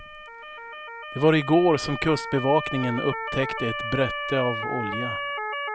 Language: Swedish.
Det var i går som kustbevakningen upptäckte ett brette av olja.